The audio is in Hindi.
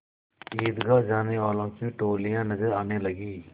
ईदगाह जाने वालों की टोलियाँ नजर आने लगीं